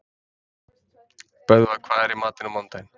Böðvar, hvað er í matinn á mánudaginn?